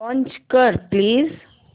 launch कर please